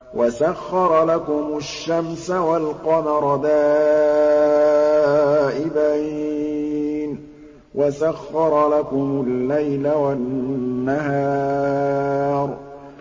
وَسَخَّرَ لَكُمُ الشَّمْسَ وَالْقَمَرَ دَائِبَيْنِ ۖ وَسَخَّرَ لَكُمُ اللَّيْلَ وَالنَّهَارَ